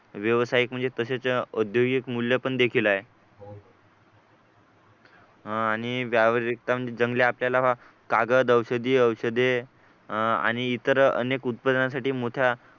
व्यावसायिक म्हणजे तसेच औद्योगिक मूल्य पण देखील आहे अह आणि व्यावहारिकता म्हणजे जंगले आपल्याला कागद औषधी औषधे आणि इतर अनेक उत्पादनासाठी मोठ्या